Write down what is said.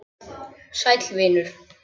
Sæll vinur